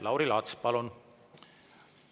Lauri Laats, palun!